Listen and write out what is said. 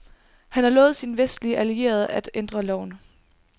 Han har lovet sine vestlige allierede at ændre loven.